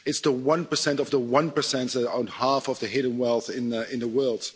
It's the one percent of the one percent that owns half of the hidden wealth in the world.